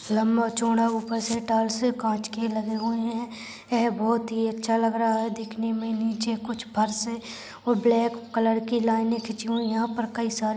लंबा चौड़ा ऊपर से काच के लगे हुए है ये बहुत ही अच्छा लग रहा है दिखने मे नीचे कुछ फर्श और ब्लैक कलर की लाइने खिचची हुई यहाँ पर कई सारे--